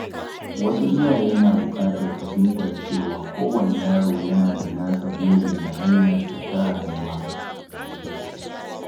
Wasu iyaye na buƙatar fahimtar cewa kowane yaro yana da nasa burin da hanyarsa ta rayuwa